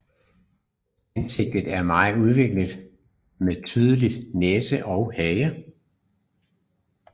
Ansigtet er mere udviklet med tydelig næse og hage